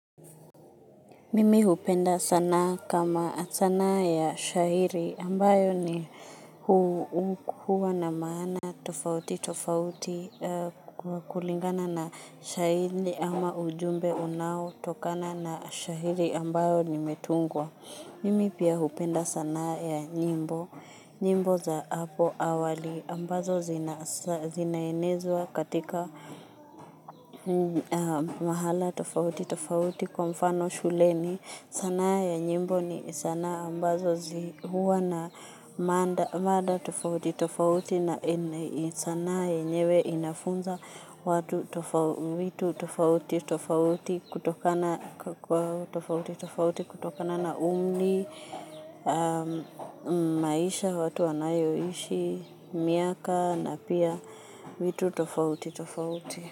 Mimi hupenda sanaa kama sanaa ya shairi ambayo ni, hukuwa na maana tofauti tofauti kulingana na shairi ama ujumbe unao tokana na shairi ambayo limetungwa. Mimi pia hupenda sanaa ya nyimbo, nyimbo za hapo awali ambazo zinaenezwa katika mahala tofauti, tofauti kwa mfano shuleni. Sanaa ya nyimbo ni sanaa ambazo huwa na mada tofauti tofauti na sanaa yenyewe inafunza watu vitu tofauti tofauti tofauti kutokana na umri, maisha watu wanayoishi, miaka na pia vitu tofauti tofauti.